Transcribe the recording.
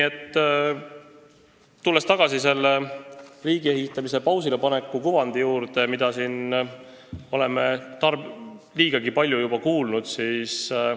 Tulen tagasi riigiehitamise pausile paneku kujundi juurde, mida me oleme siin juba liigagi palju kuulnud.